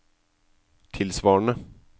tilsvarende